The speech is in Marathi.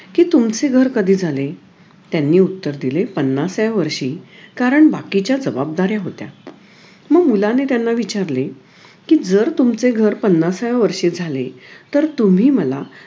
कि तुमचे घर कधी झाले त्यांनी उत्तर दिले पाणसाव्या वर्षी कारण बाकीच्या जबाबदाऱ्या होत्या मग मुलाने त्यांना विचारले जर तुमचे घर पणासाव्या वर्षी झाले तर तुम्ही मला